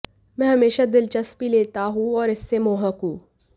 मैं हमेशा दिलचस्पी लेता हूं और इससे मोहक हूं